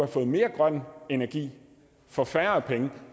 fået mere grøn energi for færre penge